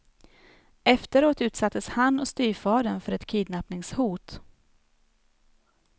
Efteråt utsattes han och styvfadern för ett kidnappningshot.